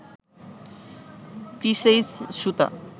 কৃসেইস সুতা